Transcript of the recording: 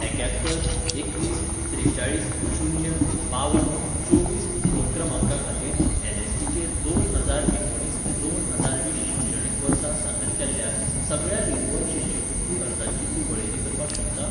एक्यात्तर एकवीस त्रेचाळीस शून्य बावन चोवीस फोन क्रमांका खातीर एन.एस.पी.चेर दोन हजार एकुणीस ते दोन हजार वीस शिक्षणीक वर्सा सादर केल्ल्या सगळ्या रिन्यूवल शिश्यवृत्ती अर्जांची तूं वळेरी करपाक शकता?